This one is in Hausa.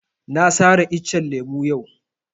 Na sare iccen lemo yau